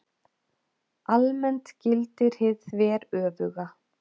Almennt gildir hið þveröfuga.